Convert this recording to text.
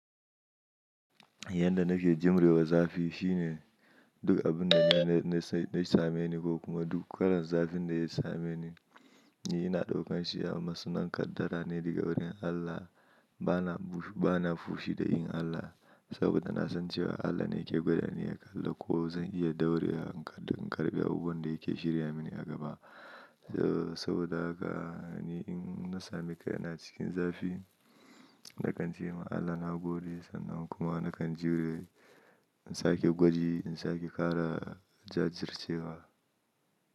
Yanda nake jimre wa zafi shine duk abun da na same ni ko kuma duk kalan zafin da ya same ni, ina daukan shi a matsayin kaddara ne daga wurin Allah. Bana fushi da yin Allah saboda na san cewa Allah ne yake gwada ni aƙalla ko zan iya daure wa in ƙarɓa abun da yake shirya mini a gaba. Saboda haka ni in na sami kaina cikin zafi, na kan ce ma Allah na gode sannan kuma na kan jure in sake gwaji, in sake ƙara jajircewa.